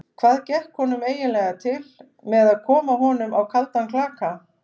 Hvað gekk honum eiginlega til með að koma honum á kaldan klaka?